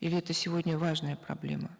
или это сегодня важная проблема